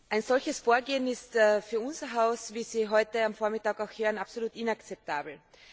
Ein solches Vorgehen ist für unser Haus, wie Sie heute am Vormittag auch hören, absolut inakzeptabel.